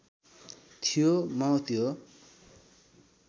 थियो म त्यो